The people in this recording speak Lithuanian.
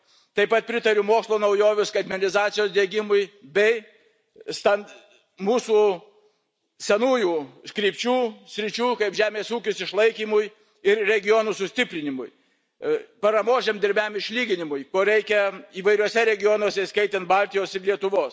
Taip pat pritariu mokslo naujovių skaitmenizacijos diegimui bei mūsų senųjų sričių kaip žemės ūkis išlaikymui ir regionų sustiprinimui, paramos žemdirbiams išlyginimui, ko reikia įvairiuose regionuose, įskaitant Baltijos ir Lietuvos.